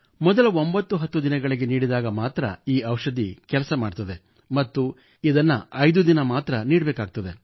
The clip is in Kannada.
ಮೊದಲ 910 ದಿನಗಳೊಳಗೆ ನೀಡಿದಾಗ ಮಾತ್ರ ಈ ಔಷಧಿ ಕೆಲಸ ಮಾಡುತ್ತದೆ ಮತ್ತು ಇದನ್ನು 5 ದಿನ ಮಾತ್ರ ನೀಡಬೇಕಾಗುತ್ತದೆ